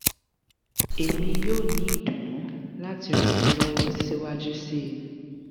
emi yoo ni idunnu lati ran ọ lọwọ siwaju sii